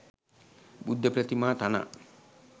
බුද්ධ ප්‍රතිමා තනා